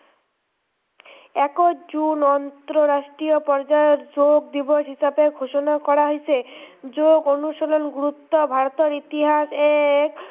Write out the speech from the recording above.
একৈছ জুন আন্তৰাষ্ট্ৰীয় পৰ্য্য়ায়ৰ যোগ দিৱস হিচাপে ঘোষণা কৰা হৈছে, যোগ অনুশীলন গুৰুত্ৱ ভাৰতৰ ইতিসাহে